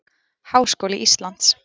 Háskóli Íslands